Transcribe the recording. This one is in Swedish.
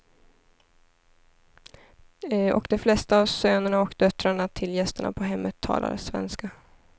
Och de flesta av sönerna och döttrarna till gästerna på hemmet talar svenska.